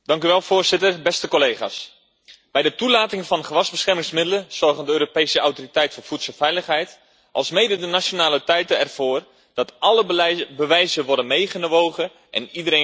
Beste collega's, bij de toelating van gewasbeschermingsmiddelen zorgen de Europese Autoriteit voor Voedselveiligheid alsmede de nationale autoriteiten ervoor dat alle bewijzen worden meegewogen en iedereen gehoord.